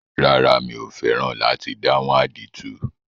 Rárá, mi ò fẹ́ràn láti dáhùn àdìtú.